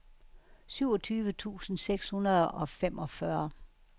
syvogtyve tusind seks hundrede og femogfyrre